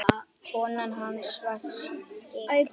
Konan hans var skyggn.